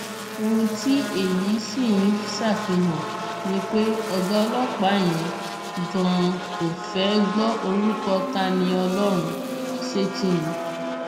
ohun tí èyí sì ń ṣàfihàn ni pé ọgá ọlọpàá yẹn ganan kò fẹẹ gbọ orúkọ tániọlọrun sétí ni